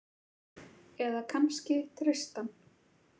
Eða kannski Tristan?